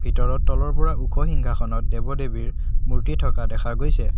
ভিতৰত তলৰ পৰা ওখ সিংহাসনত দেৱ-দেৱীৰ মূৰ্তি থকা দেখা গৈছে।